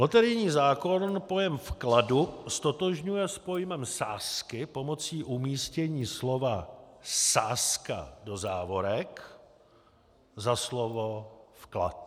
Loterijní zákon pojem vkladu ztotožňuje s pojmem sázky pomocí umístění slova sázka do závorek za slovo vklad.